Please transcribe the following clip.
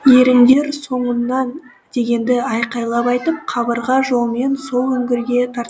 еріңдер соңымнан дегенді айқайлап айтып қабырға жолмен сол үңгірге тартты